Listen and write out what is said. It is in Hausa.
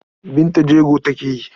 Binta jego take yi.